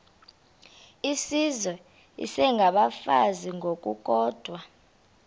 izizwe isengabafazi ngokukodwa